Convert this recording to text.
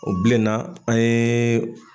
O bilenna an ye